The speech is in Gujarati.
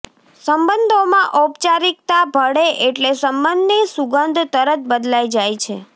સંબંધોમાં ઔપચારિકતા ભળે એટલે સંબંધની સુગંધ તરત બદલાઇ જાય છે